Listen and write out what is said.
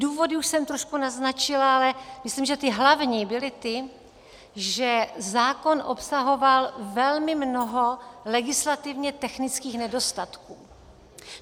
Důvody už jsem trošku naznačila, ale myslím, že ty hlavní byly ty, že zákon obsahoval velmi mnoho legislativně technických nedostatků.